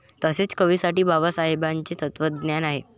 तसे कवीसाठी बाबासाहेबाचे तत्वज्ञान आहे.